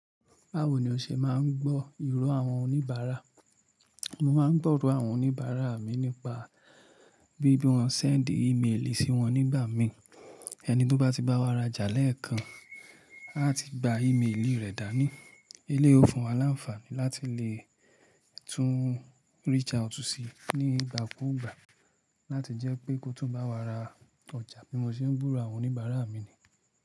Báwo ni o ṣe máa ń gbọ́ ìró àwọn oníbàárà? Mo máa ń gbọ́ ìró àwọn oníbàárà mi nípa bí bí wọ́n ṣe ń sábáà ímelì sí wọn nígbà mí. Ẹni tó bá ti bá wa ra jà lẹ́ẹ̀kan, a ti gba ímelì rẹ̀ dání. Eleyii ó fún wa láǹfààní láti le tún reach out sí ni ìgbà kúùgbà láti jẹ́ pé kó tún bá wa ra ọjà. Bí mo ṣe ń gburó àwọn oníbàárà mi ni.